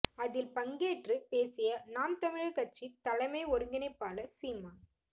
அதில் பங்கேற்றுப் பேசிய நாம் தமிழர் கட்சி தலைமை ஒருங்கிணைப்பாளர் சீமான்